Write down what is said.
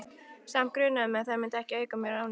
Samt grunaði mig að þær myndu ekki auka mér ánægju.